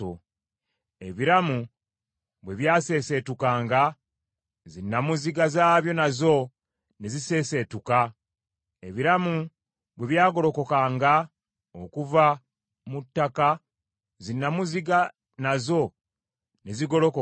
Ebiramu bwe byaseeseetukanga, zinnamuziga zaabyo nazo ne ziseeseetuka; ebiramu bwe byagolokokanga okuva mu ttaka zinnamuziga nazo ne zigolokoka.